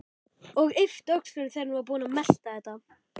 Og yppti öxlum þegar hún var búin að melta þetta.